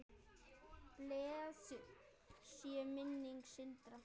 Blessuð sé minning Sindra.